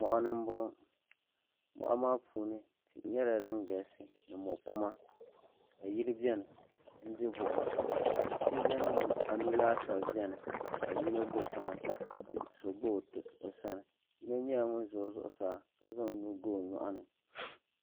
moɣani n boŋo moɣa maa puuni tihi nyɛla din galisi ni mo kuma ka yili biɛni n di buɣum ka sooja nima anu laasabu biɛni ka yino do tiŋa ka so do o sani yino nyɛla ŋun ʒɛ zuɣusaa ka zaŋ o nuu ga o nyoɣani